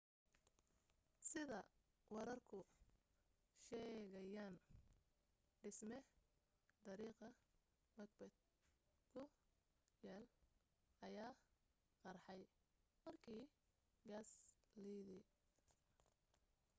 sida wararku sheegayaan dhisme dariiqa macbeth ku yaal ayaa qarxay markii gaas liidey